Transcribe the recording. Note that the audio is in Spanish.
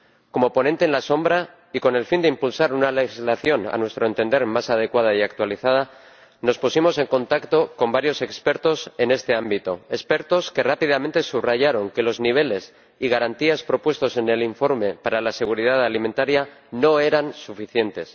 Como ponente alternativo y con el fin de impulsar una legislación, a nuestro entender, más adecuada y actualizada nos pusimos en contacto con varios expertos en este ámbito, expertos que rápidamente subrayaron que los niveles y garantías propuestos en el informe para la seguridad alimentaria no eran suficientes.